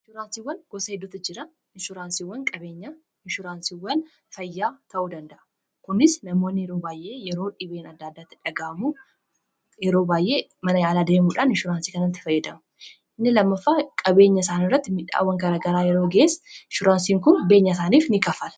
Inshuransiiwwan gosa heddutu jira. inshuraansiiwwan qabeenya, inshuraansiiwwan fayyaa ta'uu danda'a. kunis namoonni yeroo baayyee yeroo dhibeen adda addaa itti dhagaamu yeroo baayyee mana yaala deemuudhaan inshuraansii kanatti fayyadamu. inni lammafaa qabeenya isaan irratti midhaawwan kara garaa yeroo ga'es inshuraansiin kun beenya isaaniif in kanfala.